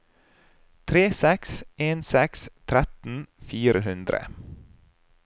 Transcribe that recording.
tre seks en seks tretten fire hundre